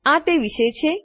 આ તે વિશે છે